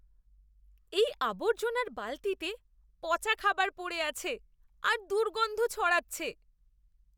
এই আবর্জনার বালতিতে পচা খাবার পড়ে আছে আর দুর্গন্ধ ছড়াচ্ছে।